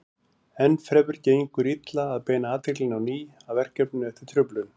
Enn fremur gengur illa að beina athyglinni á ný að verkefninu eftir truflun.